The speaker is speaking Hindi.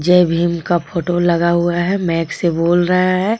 जय भीम का फोटो लगा हुआ है माइक से बोल रहा है।